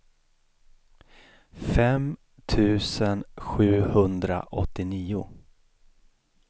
fem tusen sjuhundraåttionio